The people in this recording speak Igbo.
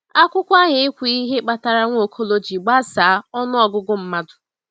Akwụkwọ ahụ ekwughị ihe kpatara Nwaokolo ji gbasaa ọnụ ọgụgụ mmadụ.